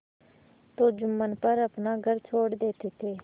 तो जुम्मन पर अपना घर छोड़ देते थे